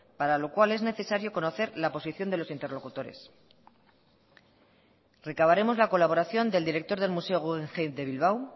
para lo cual es necesario conocer la posición de los interlocutores recavaremos la colaboración del director del museo guggenheim de bilbao